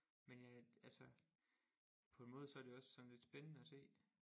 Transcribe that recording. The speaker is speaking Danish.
Men ja altså på en måde så er det jo også sådan lidt spændende at se